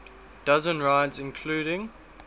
dozen rides including